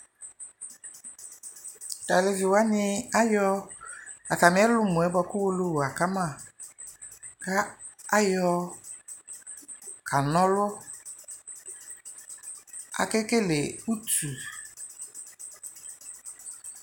Tʋ alevi wani ayɔ atami ɛlʋmɔ buakʋ Owolowu akama kʋ ayɔkanɔlʋ Akekele utu